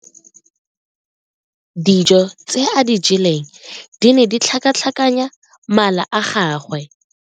Dijo tse a di jeleng di ne di tlhakatlhakanya mala a gagwe.